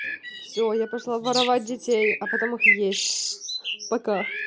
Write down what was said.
все я пошла воровать детей а потом их есть пока